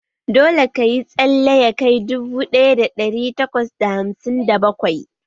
Dole ka yi tsalle ya kai dubu ɗaya da ɗari takwas da hamsin da bakwai!